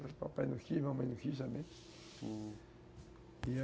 Papai não quis, mamãe não quis também, hum.